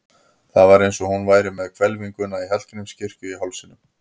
Það var eins og hún væri með hvelfinguna í Hallgrímskirkju í hálsinum.